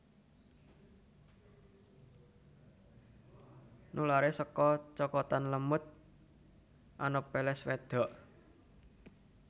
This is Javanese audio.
Nularé saka cokotan lemut Anopheles wédok